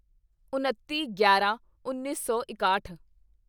ਉਨੱਤੀਗਿਆਰਾਂਉੱਨੀ ਸੌ ਇਕਾਹਠ